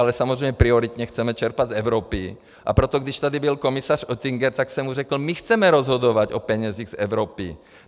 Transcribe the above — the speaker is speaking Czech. Ale samozřejmě prioritně chceme čerpat z Evropy, a proto když tady byl komisař Oettinger, tak jsem mu řekl: My chceme rozhodovat o penězích z Evropy.